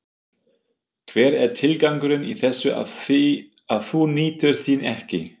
Hver er tilgangurinn í þessu ef þú nýtur þín ekki?